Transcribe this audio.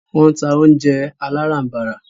Wọ́n ń ta oúnjẹ aláràm̀barà.